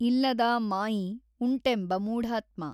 ಇಲ್ಲದಾ ಮಾಯಿ ಊಂಟೆಂಬ ಮೂಢಾತ್ಮ।